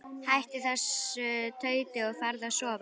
Hættu þessu tauti og farðu að sofa.